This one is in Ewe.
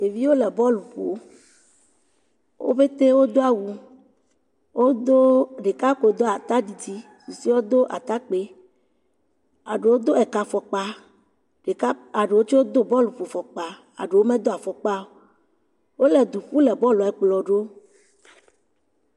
Ɖevi le bɔɔlu ƒom. Wo ƒete wodo awu. Wodo, ɖeka ko do atadidi. Susuewo do atakpoe. Ma ɖewo do ekafɔkpa. Ɖeka eɖewo tsɛ do bɔluƒofɔkpa. Ma ɖewo medo fɔkpa o. Wole du ƒu le bɔɔlɛ kplɔ wo.